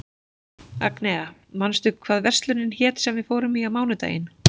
Agnea, manstu hvað verslunin hét sem við fórum í á mánudaginn?